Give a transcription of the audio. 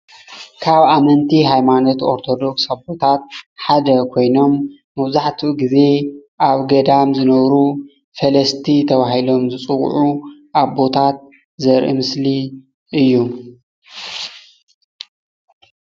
ካብ አመንቲ ሃይማኖት አርቶዶክስ አቦታት ሓደ ኮይኖም መብዛሕትኡ ግዜ አብ ገዳም ዝነብሩ ፈለስቲ ተባሂሎም ዝጸዉዑ አቦታት ዘርኢ ምስሊ እዩ።